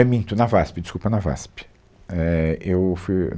É minto, na VASP, desculpa, na VASP. É, eu fui